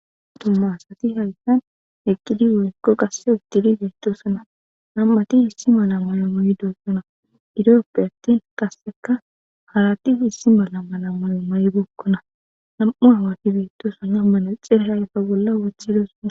Tummaasati hayssan eqqidi woykko qasse uttidi beettosana nam'ati issi mala mayo mayidossona idooppe attin qasseka haratis issi mala mala mayo may bookkona nam'u hawati beettosana manaxira hayfa bolla wothi ydosonna.